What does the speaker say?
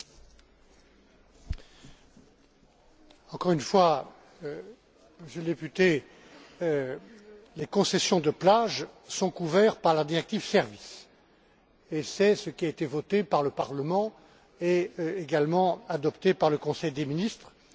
Encore une fois, Monsieur le député, les concessions de plage sont couvertes par la directive sur les services. C'est ce qui a été voté par le Parlement et également approuvé par le Conseil des ministres au moment de l'adoption de cette directive en